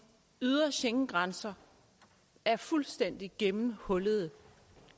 ydre schengengrænser er fuldstændig gennemhullede